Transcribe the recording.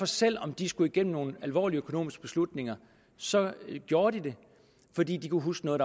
selv om de skulle igennem nogle alvorlige økonomiske beslutninger så gjorde de det fordi de kunne huske noget